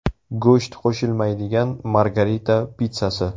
Go‘sht qo‘shilmaydigan Margarita pitssasi.